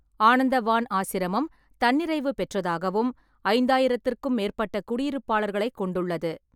ஆனந்தவான் ஆசிரமம் தன்னிறைவு பெற்றதாகவும், ஐந்தாயிரத்திற்கும் மேற்பட்ட குடியிருப்பாளர்களைக் கொண்டுள்ளது.